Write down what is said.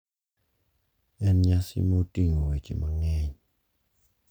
En nyasi ma oting'o weche mang'eny.